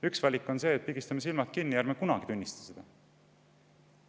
Üks valik on see, et pigistame silmad kinni ega tunnista seda kunagi.